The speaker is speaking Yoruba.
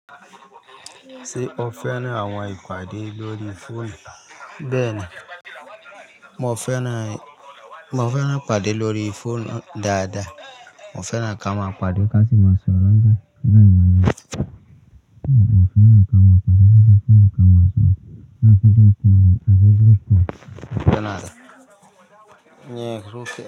Ṣé o fẹ́ràn àwọn ìpàdé lórí fóònù? Bẹ́ẹ̀ni, mo fẹ́ràn ìpàdé lórí fóònù dáadáa. Mo fẹ́ràn kí a máa pàdé ká tí máa sọ̀rọ̀ nígbàìmọ̀ yìí. Mo fẹ́ràn kí a máa pàdé lórí fóònù kí a máa sọ̀rọ̀ láti dé ọkùnrin àti grúpù.